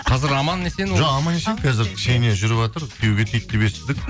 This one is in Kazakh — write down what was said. қазір аман есен жоқ аман есен қазір ксения жүріватыр күйеуге тиді деп естідік